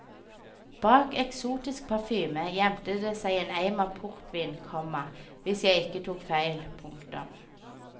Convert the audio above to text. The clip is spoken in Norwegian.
Bak eksotisk parfyme gjemte det seg eim av portvin, komma hvis jeg ikke tok feil. punktum